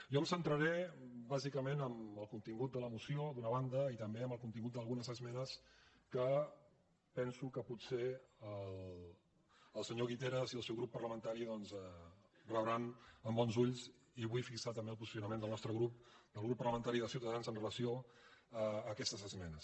jo em centraré bàsicament en el contingut de la moció d’una banda i també en el contingut d’algunes esme·nes que penso que potser el senyor guiteras i el seu grup parlamentari rebran doncs amb bons ulls i vull fixar també el posicionament del nostre grup del grup parlamentari de ciutadans amb relació a aques·tes esmenes